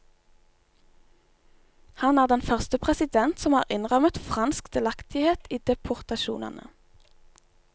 Han er den første president som har innrømmet fransk delaktighet i deportasjonene.